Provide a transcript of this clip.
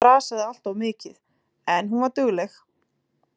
Heiða þrasaði alltof mikið, en hún var dugleg.